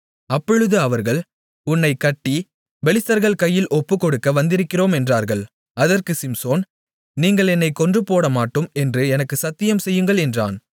அப்பொழுது அவர்கள் உன்னைக் கட்டி பெலிஸ்தர்கள் கையில் ஒப்புக்கொடுக்க வந்திருக்கிறோம் என்றார்கள் அதற்குச் சிம்சோன் நீங்கள் என்னைக் கொன்றுபோடமாட்டோம் என்று எனக்கு சத்தியம் செய்யுங்கள் என்றான்